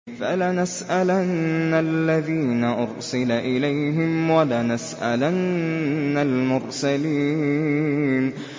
فَلَنَسْأَلَنَّ الَّذِينَ أُرْسِلَ إِلَيْهِمْ وَلَنَسْأَلَنَّ الْمُرْسَلِينَ